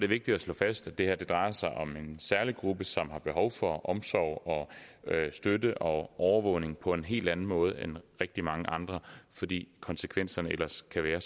vigtigt at slå fast at det her drejer sig om en særlig gruppe som har behov for omsorg støtte og overvågning på en hel anden måde end rigtig mange andre fordi konsekvenserne ellers kan være